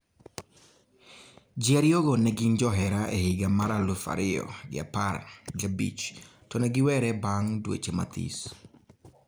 jiariyo go negin johera e hida mar elufu ariyo gi apar gi abich tonegiwere bang dweche mathis